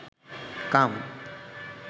কাম